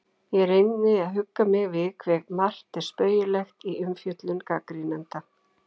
Ég reyni að hugga mig við hve margt er spaugilegt í umfjöllun gagnrýnenda.